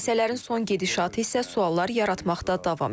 Hadisələrin son gedişatı isə suallar yaratmaqda davam edir.